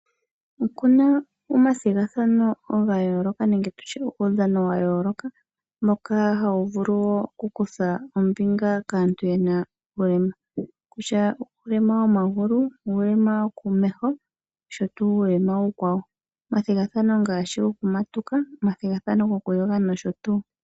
Okuna omathigathano ga yooloka nenge tutye omaudhano moka aantu taya lumbu nuulema taya vulu kutha oombinga, kutya uulema womagulu, uulema wo mesho osho woo uulema uukwawo, omathigathano ngashi goku matuka, gokuyoga nosho tuu.